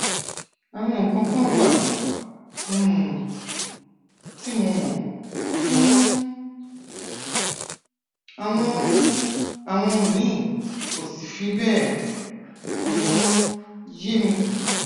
àwọn nǹkan kan wà um tí mo mọ um àwọn àwọn míì ò sì fi bẹẹ um yé mi